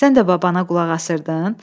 Sən də babana qulaq asırdın?